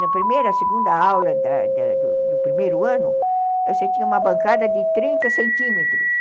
Na primeira, segunda aula da da do do primeiro ano, você tinha uma bancada de trinta centímetros.